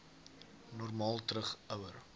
normaal terug ouer